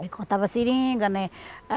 Ele cortava seringa, né?